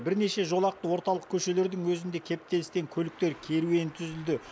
бірнеше жолақты орталық көшелердің өзінде кептелістен көліктер керуені түзілді